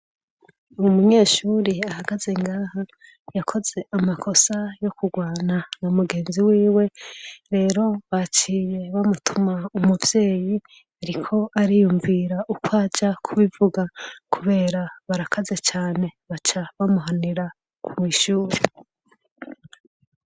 Uri munyeshuri ahagaze ngaha yakoze amakosa yo kurwana na mugenzi wiwe rero bacire bamutuma umuvyeyi, ariko ariyumvira uko aja kubivuga, kubera barakaze cane baca bamuhanira ku mw'ishuri.